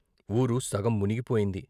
ఊరు సగం మునిగిపోయింది.